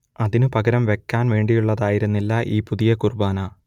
അതിനു പകരം വയ്ക്കാൻ വേണ്ടിയുള്ളതായിരുന്നില്ല ഈ പുതിയ കുർബ്ബാന